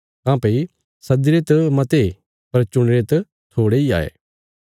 काँह्भई सद्दीरे त मते पर चुणी रे त थोड़े इ हाये